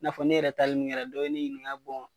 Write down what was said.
N'a fɔ ne yɛrɛ taali min kɛra dɔ ne ɲininka bɔn